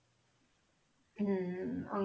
ਹਮ